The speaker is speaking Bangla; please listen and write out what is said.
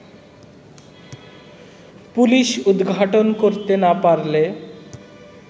পুলিশ উদ্ঘাটন করতে না পারলে